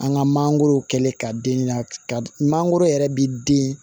An ka mangoro kɛlen ka den ɲininka ka mangoro yɛrɛ bɛ den